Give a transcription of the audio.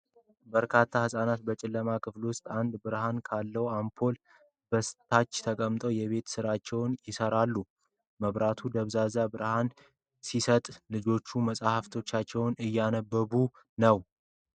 በርካታ ህፃናት በጨለማ ክፍል ውስጥ አንድ ብርሃን ካለው አምፖል በታች ተሰብስበው የቤት ስራቸውን ይሰራሉ። መብራቱ ደብዛዛ ብርሃን ቢሰጥም፣ ልጆቹ መጽሐፎቻቸውን እያነበቡ ነው።